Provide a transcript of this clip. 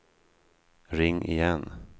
ring igen